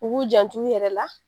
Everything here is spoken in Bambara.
U b'u jant'u yɛrɛ la.